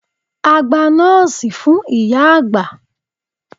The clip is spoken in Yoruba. A gba noòsì fún ìyá-àgbà.